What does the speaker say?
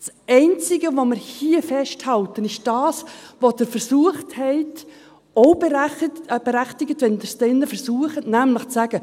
Das Einzige, was wir hier festhalten, ist das, was Sie versucht haben – auch berechtigt, wenn Sie es dann hier versuchen – nämlich zu sagen: